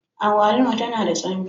Agwaluma tana da tsami.